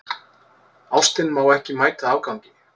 Ástin má ekki mæta afgangi.